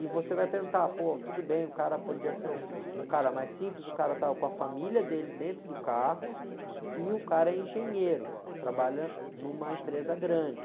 E você vai perguntar, pô, tudo bem, o cara podia ser um, um cara mais simples, o cara estava com a família dele dentro do carro e o cara é engenheiro, trabalha numa empresa grande.